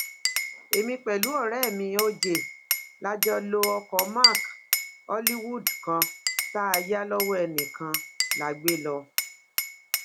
èmi pẹlú ọrẹ mi oj la jọ lo ọkọ mark hollywood kan tá a yà lọwọ ẹnìkan la gbé lọ